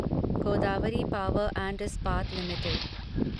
Godavari power and Ispat limited